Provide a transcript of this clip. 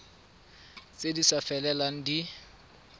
tse di sa felelang di